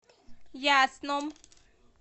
ясном